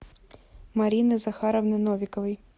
марины захаровны новиковой